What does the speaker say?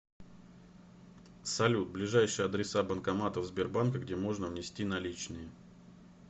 салют ближайшие адреса банкоматов сбербанка где можно внести наличные